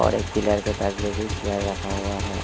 और एक पिलर के पास में भी चेयर रखा हुआ है।